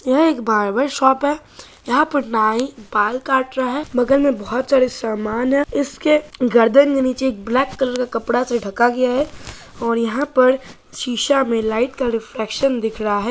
यह एक barber shop हैं। यहाँ पर नाई बाल काट रहा हैं। बगल मे बहुत सारा सामान है इसके गर्दन के नीचे एक ब्लैक कलर कपड़ा से ढाका गया हैं। और यहाँ पर शीशा मे लाइट का रिफ्लेक्शन दिख रहा हैं।